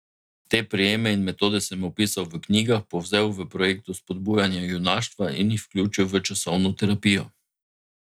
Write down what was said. Te prijeme in metode sem opisal v knjigah, povzel v projektu spodbujanja junaštva in jih vključil v časovno terapijo.